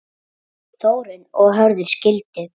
Þórunn og Hörður skildu.